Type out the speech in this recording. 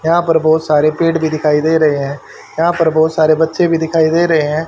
यहां पर बहोत सारे भी पेड़ दिखाई दे रहे हैं यहां पर बहोत सारे बच्चे भी दिखाई दे रहे हैं।